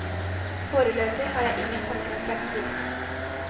Foreløpig har jeg ingen tanker om fremtiden.